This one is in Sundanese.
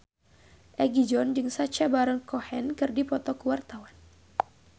Egi John jeung Sacha Baron Cohen keur dipoto ku wartawan